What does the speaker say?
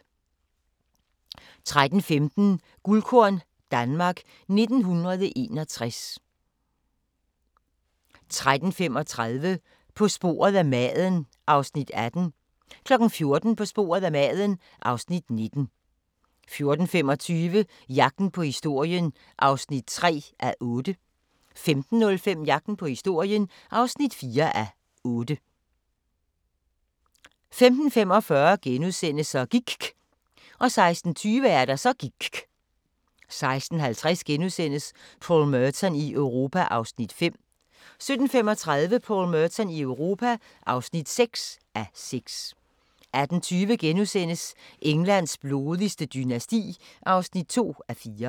13:15: Guldkorn - Danmark 1961 13:35: På sporet af maden (Afs. 18) 14:00: På sporet af maden (Afs. 19) 14:25: Jagten på historien (3:8) 15:05: Jagten på historien (4:8) 15:45: Så gIKK' * 16:20: Så gIKK' 16:50: Paul Merton i Europa (5:6)* 17:35: Paul Merton i Europa (6:6) 18:20: Englands blodigste dynasti (2:4)*